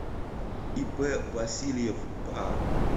ип васильев па